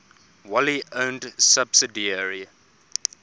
wholly owned subsidiary